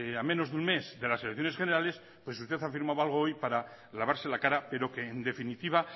a menos de un mes de las elecciones generales usted ha firmado hoy para lavarse la cara pero que en definitiva